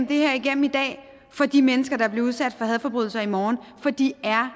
det her igennem i dag for de mennesker der bliver udsat for hadforbrydelser i morgen for de er